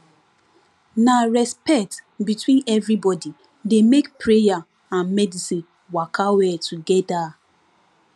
na respect between everybody dey make prayer and medicine waka well together